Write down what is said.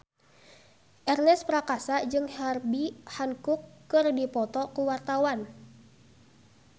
Ernest Prakasa jeung Herbie Hancock keur dipoto ku wartawan